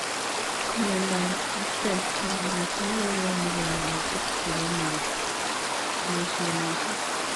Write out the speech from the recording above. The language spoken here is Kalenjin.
Miondoop Axenfeld netai kokonuu kaimutik chepoo mutetionisiek